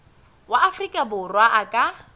wa afrika borwa a ka